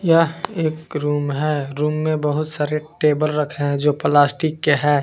यह एक रूम है। रूम में बहुत सारे टेबल रखे है जो प्लास्टिक के है।